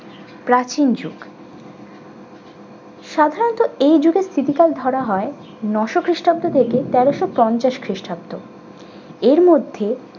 প্রাচীন যুগ সাধারণত এই যুগের স্থিতিকাল ধরা হয় নয়শ খ্রিষ্টাব্দ হতে তেরশো পঞ্চাশ খ্রিস্টাব্দ। এর মধ্যে